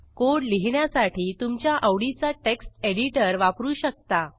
code लिहिण्यासाठी तुमच्या आवडीचा टेक्स्ट एडिटर वापरू शकता